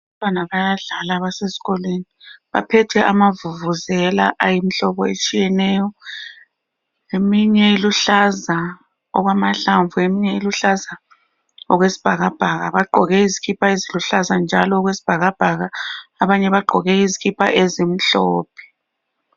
Abantwana bayadlala basesikolweni, baphethe amavuvuzela ayimihlobo etshiyeneyo, eminye iluhlaza okwamahlamvu eminye iluhlaza okwesibhakabhaka. Bagqoke izikipa eziluhlaza njalo okwesibhakabhaka, abanye bagqoke izikipa ezimhlophe.